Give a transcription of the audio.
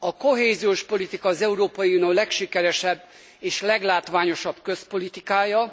A kohéziós politika az Európai Unió legsikeresebb és leglátványosabb közpolitikája.